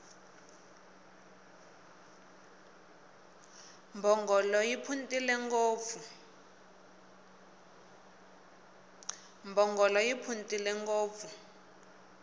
mbhongolo yi phuntile ngopfu